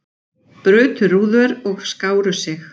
Brutu rúður og skáru sig